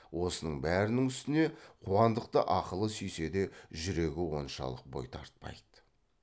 осының бәрінің үстіне қуандықты ақылы сүйсе де жүрегі оншалық бой тартпайды